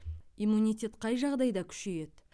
иммунитет қай жағдайда күшейеді